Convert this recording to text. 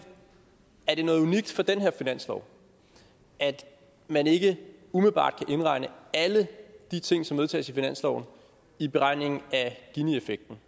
er det noget unikt for den her finanslov at man ikke umiddelbart kan indregne alle de ting som vedtages i finansloven i beregningen af effekten